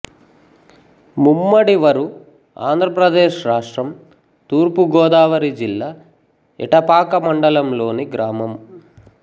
ముమ్మడివరు ఆంధ్ర ప్రదేశ్ రాష్ట్రం తూర్పు గోదావరి జిల్లా ఎటపాక మండలంలోని గ్రామం